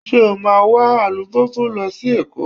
Ṣé o máa wa alùpùpù lọ sí Èkó?